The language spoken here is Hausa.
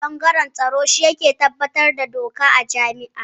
Ɓangaren tsaro shi ne yake kula da tabbatar da doka a jami'a